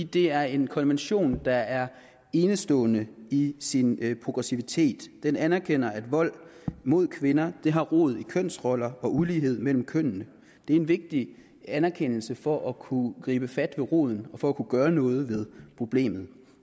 det er en konvention der er enestående i sin progressivitet den anerkender at vold mod kvinder har rod i kønsroller og ulighed mellem kønnene det er en vigtig anerkendelse for at kunne gribe fat ved roden og for at kunne gøre noget ved problemet